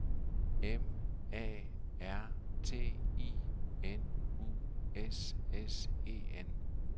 M A R T I N U S S E N